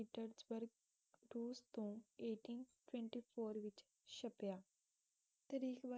ਤੋਂ ਵਿੱਚ ਛਪਿਆ ਤਰੀਖ਼